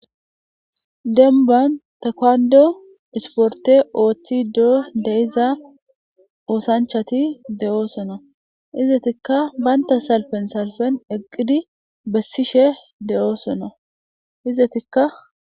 demban takwando isporte ooththido de'iza oosanchati de'osona , izetikka banta salpen salpen eqqidi bessishe de'osona, izetika....